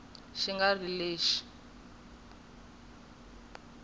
xi nga ri lexi mga